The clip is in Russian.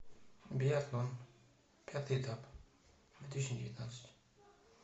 биатлон пятый этап две тысячи девятнадцать